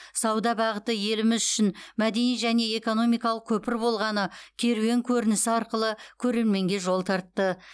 сауда бағыты еліміз үшін мәдени және экономикалық көпір болғаны керуен көрінісі арқылы көрерменге жол тартты